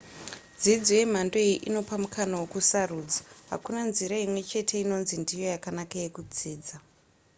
dzidzo yemhando iyi inopa mukana wekusarudza hakuna nzira imwe chete inonzi ndiyo yakanaka yekudzidza